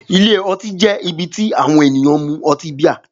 Ilé ọtí jẹ́ ibi tí àwọn ènìyàn mú ọtí bíà.